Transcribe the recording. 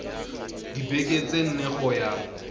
dibekeng tse nne go ya